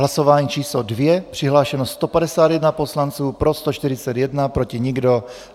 Hlasování číslo 2. Přihlášeno 151 poslanců, pro 141, proti nikdo.